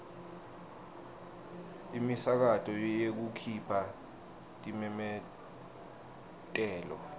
imisakato yekukhipha timemetelo